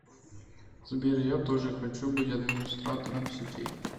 сбер я тоже хочу быть администратором сетей